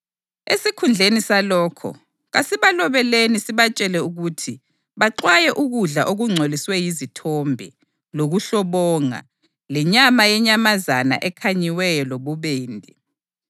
Esikhundleni salokho, kasibalobeleni sibatshele ukuthi baxwaye ukudla okungcoliswe yizithombe, lokuhlobonga, lenyama yenyamazana ekhanyiweyo lobubende.